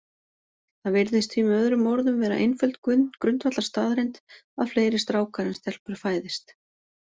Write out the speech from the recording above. Það virðist því með öðrum orðum vera einföld grundvallarstaðreynd að fleiri strákar en stelpur fæðist.